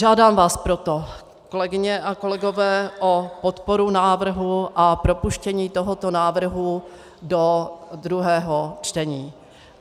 Žádám vás proto, kolegyně a kolegové, o podporu návrhu a propuštění tohoto návrhu do druhého čtení.